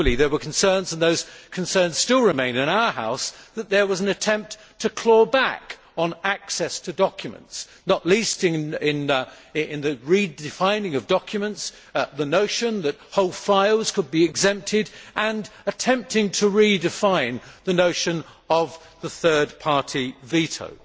Equally there were concerns and those concerns still remain in this House that there was an attempt to claw back on access to documents, not least in the redefining of documents the notion that whole files could be exempted and attempting to redefine the notion of the third party veto.